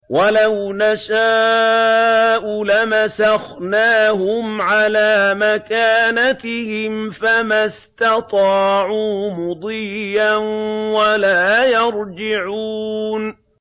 وَلَوْ نَشَاءُ لَمَسَخْنَاهُمْ عَلَىٰ مَكَانَتِهِمْ فَمَا اسْتَطَاعُوا مُضِيًّا وَلَا يَرْجِعُونَ